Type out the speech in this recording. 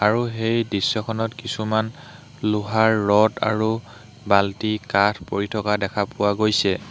আৰু সেই দৃশ্যখনত কিছুমান লোহাৰ ৰড আৰু বাল্টি কাঠ পৰি থকা দেখা পোৱা গৈছে।